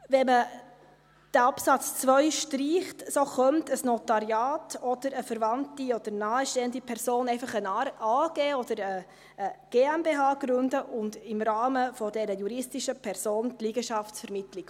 Wenn man den Absatz 2 streicht, könnte ein Notariat oder eine verwandte oder nahestehende Person einfach eine AG oder eine GmbH gründen und die Liegenschaftsvermittlung im Rahmen dieser juristischen Person ausüben.